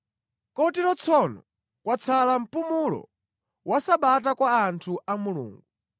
Kotero tsono kwatsala mpumulo wa Sabata kwa anthu a Mulungu;